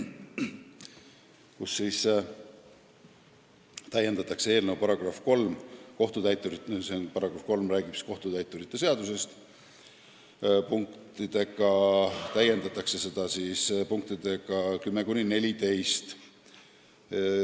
Tehakse ettepanek täiendada eelnõu § 3, mis käsitleb kohtutäituri seaduse muutmist, punktidega 10–14.